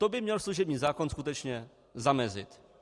To by měl služební zákon skutečně zamezit.